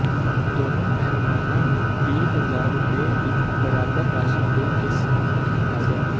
ਦੋਵਾਂ ਪਹਿਲਵਾਨਾਂ ਨੂੰ ਵੀਹ ਹਜ਼ਾਰ ਰੁਪਏ ਦੀ ਬਰਾਬਰ ਰਾਸ਼ੀ ਦੇ ਕੇ ਸਨਮਾਨਤ ਕੀਤਾ ਗਿਆ